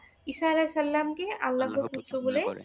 ঈসা আলাইসাল্লাম কে আল্লাহর পুত্র বলে।